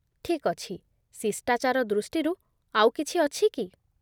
ଠିକ୍ ଅଛି, ଶିଷ୍ଟାଚାର ଦୃଷ୍ଟିରୁ ଆଉ କିଛି ଅଛି କି?